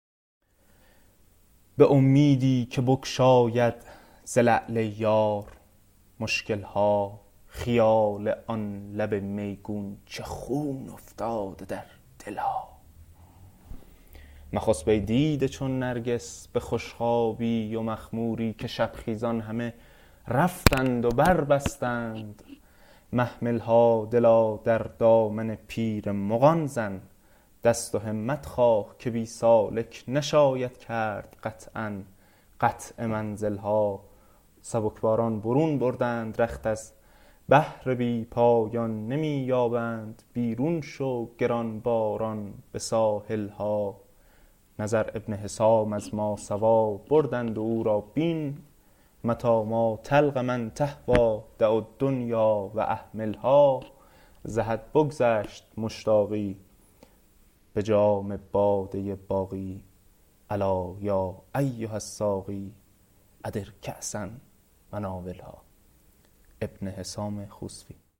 به امیدی که بگشاید ز لعل یار مشکل ها خیال آن لب میگون چه خون افتاده در دل ها مخسب ای دیده چون نرگس به خوش خوابی و مخموری که شب خیزان همه رفتند و بربستند محمل ها دلا در دامن پیر مغان زن دست و همت خواه که بی سالک نشاید کرد قطعا قطع منزل ها سبکباران برون بردند رخت از بحر بی پایان نمی یابند بیرون شو گرانباران به ساحل ها نظر ابن حسام از ماسوی بردند و او را بین متی ما تلق من تهوی دع الدنیا و اهملها ز حد بگذشت مشتاقی به جام باده باقی الا یا ایها الساقی ادر کاسا وناولها